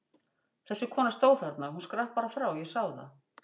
Þessi kona stóð þarna, hún skrapp bara frá, ég sá það!